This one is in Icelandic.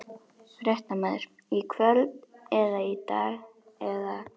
Fréttamaður: Í kvöld eða í dag eða?